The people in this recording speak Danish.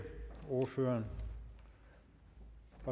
ordføreren